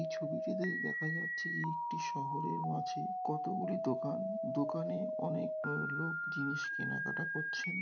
এই ছবিটিতে দেখা যাচ্ছে যে একটি শহরের মাঝে কতগুলি দোকান। দোকানে অনেক ও লোক জিনিস কেনাকাটা করছেন।